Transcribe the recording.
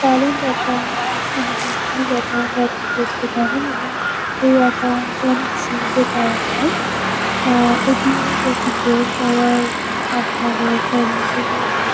Current account মানে business account -ও আপনি করতে পারেন। এবং এই একাউন্ট -এ অনেক সুবিধে পাওয়া যায়। Ah A .T . এম. -ও টোয়েন্টি ফোর আওয়ার আপনাদের সার্ভিসেস -ও দিয়ে --